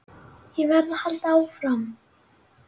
Ég verð að halda áfram.